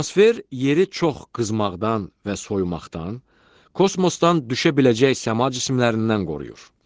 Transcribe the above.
Atmosfer yeri çox qızmaqdan və soyumaqdan, kosmosdan düşə biləcək səma cisimlərindən qoruyur.